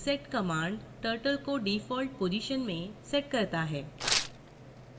reset command turtle को default position में sets करता है